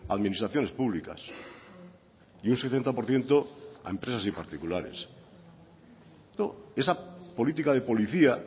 a administraciones públicas y un setenta por ciento a empresas y particulares esa política de policía